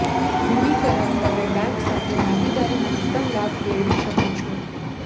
મૂડીકરણ તમે બેંક સાથે ભાગીદારી મહત્તમ લાભ મેળવી શકો છો